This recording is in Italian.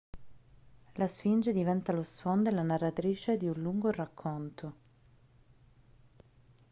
la sfinge diventa lo sfondo e la narratrice di un lungo racconto